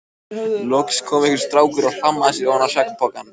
Loks kom einhver strákur og hlammaði sér ofan á svefnpokann.